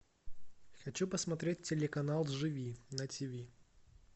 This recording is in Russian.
хочу посмотреть телеканал живи на тиви